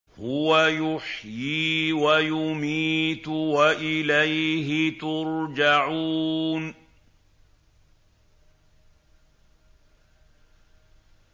هُوَ يُحْيِي وَيُمِيتُ وَإِلَيْهِ تُرْجَعُونَ